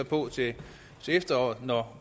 på til efteråret når